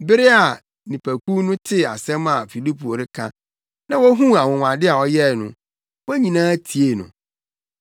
Bere a nnipakuw no tee asɛm a Filipo reka na wohuu anwonwade a ɔyɛe no, wɔn nyinaa tiee no.